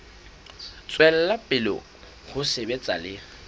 tswela pele ho sebetsa le